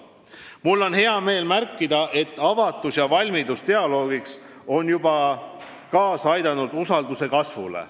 Mul on hea meel märkida, et avatus ja valmidus dialoogiks on juba kaasa aidanud usalduse kasvule.